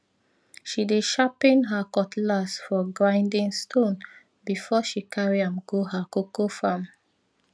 she dey sharpen her cutlass for grinding stone before she carry am go her cocoa farm